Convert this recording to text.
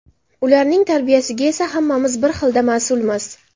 Ularning tarbiyasiga esa hammamiz bir xilda mas’ulmiz.